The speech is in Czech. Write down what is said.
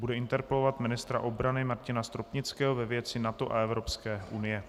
Bude interpelovat ministra obrany Martina Stropnického ve věci NATO a Evropské unie.